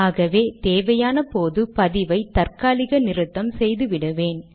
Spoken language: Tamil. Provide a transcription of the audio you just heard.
ஆகவே தேவையான போது பதிவை தற்காலிக நிறுத்தம் செய்து விடுவேன்